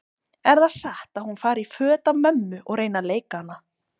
Er það satt að hún fari í föt af mömmu og reyni að leika hana?